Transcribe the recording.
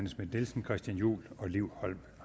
schmidt nielsen christian juhl og liv holm